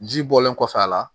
Ji bɔlen kɔfɛ a la